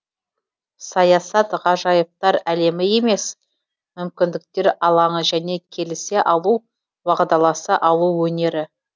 саясат ғажайыптар әлемі емес мүмкіндіктер алаңы және келісе алу уағдаласа алу өнері